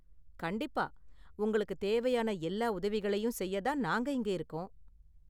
கண்டிப்பா! உங்களுக்கு தேவையான எல்லா உதவிகளையும் செய்ய தான் நாங்க இங்க இருக்கோம்.